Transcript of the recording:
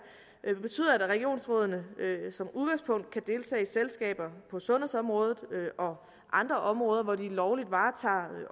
betyder at regionsrådene som udgangspunkt kan deltage i selskaber på sundhedsområdet og andre områder hvor de lovligt varetager